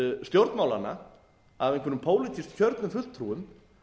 stjórnmálanna af einhverjum pólitískt kjörnum fulltrúum